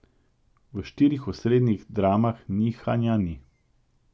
V štirih osrednjih dramah nihanja ni.